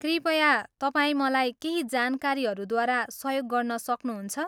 कृपया तपाईँ मलाई केही जानकारीहरूद्वारा सहयोग गर्न सक्नुहुन्छ?